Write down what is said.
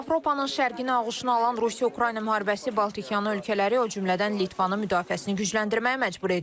Avropanın şərqini ağuşuna alan Rusiya-Ukrayna müharibəsi Baltikyanı ölkələri, o cümlədən Litvanı müdafiəsini gücləndirməyə məcbur edib.